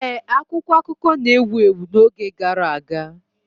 Ee, akwụkwọ akụkọ na-ewu ewu n'oge gara aga.